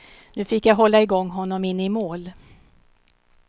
Nu fick jag hålla i gång honom in i mål.